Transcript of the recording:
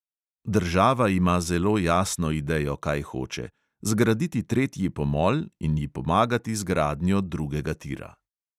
Država ima zelo jasno idejo, kaj hoče – zgraditi tretji pomol in ji pomagati z gradnjo drugega tira.